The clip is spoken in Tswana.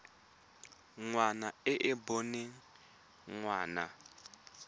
ngwana e e boneng ngwana